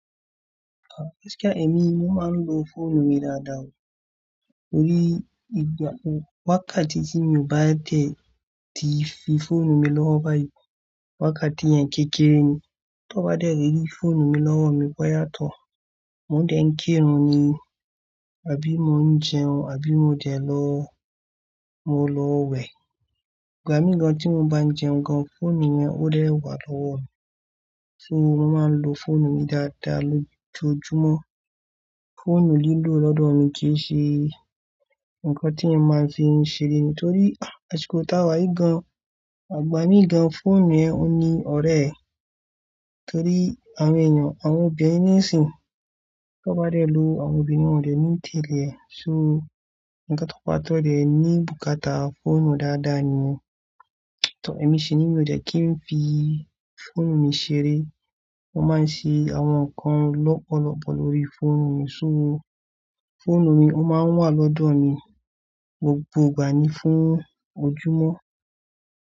Ah! Kò ṣe kí èmi mo máa ń lo fóònù mi dáadáa, torí ìgbà-- wákàtí tí mi ò bá tẹ̀ tí fi fóònù mi lọ́wọ́ báyìí, wákàtí yẹn kéré ni. Tí wọ́n bá dẹ̀ ri fóònù mi lọ́wọ́ mi bọ́ yá tó, mo dẹ̀ ń kérùn ni, àbí mo ń jẹun, àbí mo dẹ̀ lọ, mo lọ wẹ̀. Ìgbà mí kan tí mo bá ń jẹun gan-an, fóònù yẹn ó dẹ̀ wà lọ́wọ́ mi. So mo máa ń lo fóònù mi dáadáa lójoojúmọ́. Fóònù lílò lọ́dọ̀ mi kì í ṣe nǹkan tí ẹ máa ń fi ń ṣeré mi, torí àsìkò táa wáyé gan, àgbà mí gan-an, fóònù yẹn ò ní ọ̀rẹ́, torí àwọn èèyàn, àwọn obìnrin nísìí, tí wọ́n bá dẹ̀ lu àwọn obìnrin, wọ́n dẹ̀ mú tẹ́lẹ̀. So, ǹkan tó pa tó dẹ̀ ní bùkátà fóònù dáadáa ni. Tí ọ̀rẹ́ mi ṣìní, mi ò dẹ̀ kí n fi fóònù mi ṣeré. Wọ́n máa ń ṣe àwọn nǹkan lọ́pọ̀lọpọ̀ lórí fóònù mi, so fóònù mi ó máa ń wà lọ́dọ̀ mi gbogbo ìgbà ní fún ojúmọ́.